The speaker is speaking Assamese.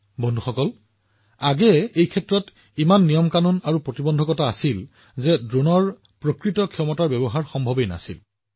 বন্ধুসকল আগতে এই খণ্ডত ইমান বোৰ নিয়ম আইন আৰু নিষেধাজ্ঞা আৰোপ কৰা হৈছিল যে ড্ৰোনৰ প্ৰকৃত ক্ষমতাৰ ব্যৱহাৰ সম্ভৱ হৈ উঠা নাছিল